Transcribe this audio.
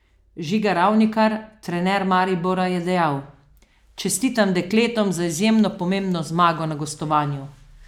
Žiga Ravnikar, trener Maribora, je dejal: "Čestitam dekletom za izjemno pomembno zmago na gostovanju.